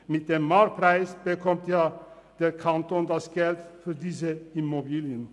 Mit dem Marktpreis bekommt der Kanton das Geld für diese Immobilien.